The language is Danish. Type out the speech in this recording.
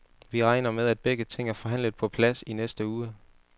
Vi regner med, at begge ting er forhandlet på plads i næste uge.